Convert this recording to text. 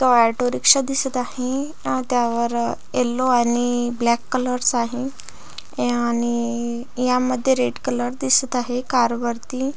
इथ auto rickshaw ( दिसत आहे अन त्यावर अ येलो आणि इ ब्लॅक कलर्स आहे आणि इ यामधे रेड कलर दिसत आहे कार वरती.